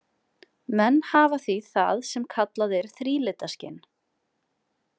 Menn hafa því það sem kallað er þrílitaskyn.